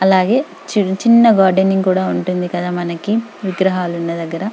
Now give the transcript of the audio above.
అలాగే చిన్న చిన్న గార్డెనింగ్ ఉంటది కదా మనకు విగ్రహాలు ఉన్న దగ్గర.